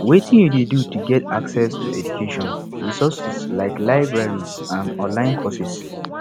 wetin you dey do to get access to educational resources like libraries and online courses